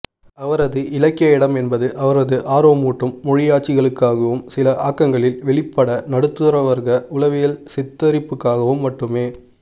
அவரது இலக்கிய இடம் என்பது அவரது ஆர்வமூட்டும் மொழியாட்சிகளுக்காகவும் சில ஆக்கங்களில் வெளிப்பட்ட நடுத்தரவற்க உளவியல்சித்தரிப்புக்காகவும் மட்டுமே